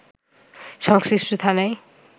সংশ্লিষ্ট থানায়